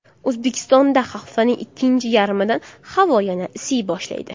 O‘zbekistonda haftaning ikkinchi yarmidan havo yana isiy boshlaydi.